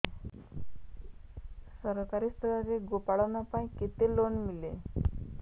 ସରକାରୀ ସ୍ତରରେ ଗୋ ପାଳନ ପାଇଁ କେତେ ଲୋନ୍ ମିଳେ